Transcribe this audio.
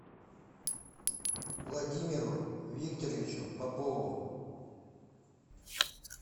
владимиру викторовичу попову